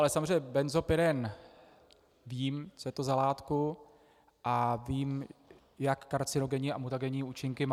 Ale samozřejmě benzopyren vím, co je to za látku, a vím, jak karcinogenní a mutagenní účinky má.